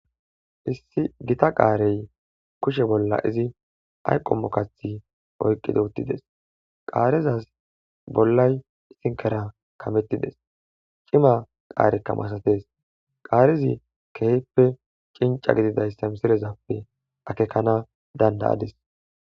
Issi gita qaarey kushe bolla izi ayqomo kathi oyqqido uttides qaarezaz bollay isinkera kamettides cima qaarekka masates qaarizi kehippe cinca gididayssa misilezappe akekana dandayadis.